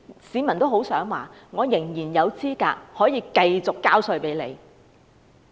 市民很希望明年仍然合資格繼續繳稅。